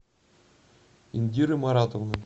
индиры маратовны